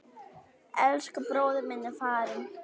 Elsku bróðir minn er farinn.